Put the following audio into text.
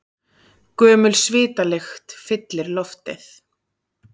Gömul svitalykt fyllir loftið.